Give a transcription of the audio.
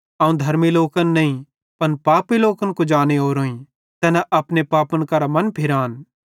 अवं धर्मी लोकन नईं पन पापी लोकन कुजाने ओरोईं कि तैना अपने पापन करां मनफिरान